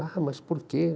Ah, mas por quê?